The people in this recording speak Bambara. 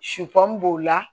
b'o la